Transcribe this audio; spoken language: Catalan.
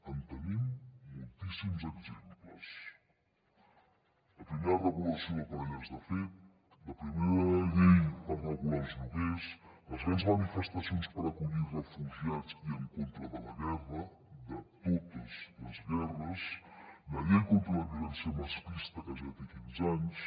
en tenim moltíssims exemples la primera regulació de parelles de fet la primera llei per regular els lloguers les grans manifestacions per acollir refugiats i en contra de la guerra de totes les guerres la llei contra la violència masclista que ja té quinze anys